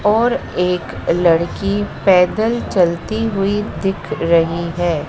और एक लड़की पैदल चलती हुई दिख रही है।